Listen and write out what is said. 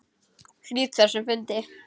Slít þessum fundi.